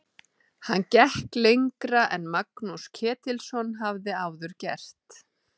Hann gekk lengra en Magnús Ketilsson hafði áður gert.